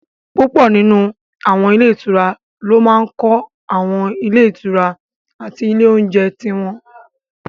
Púpọ̀ nínú àwọn ilé ìtura ló máa n kọ́ àwọn ilé ìtura àti ilé oúnjẹ tí wọ́n